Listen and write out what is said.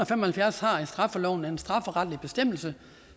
fem og halvfjerds i straffeloven har en strafferetlig bestemmelse